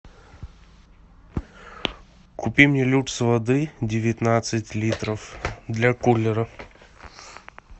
купи мне люкс воды девятнадцать литров для куллера